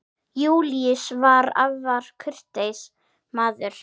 Júlíus var afar kurteis maður.